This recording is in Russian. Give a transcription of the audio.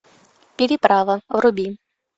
переправа вруби